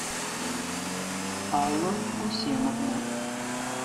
алла гусеновна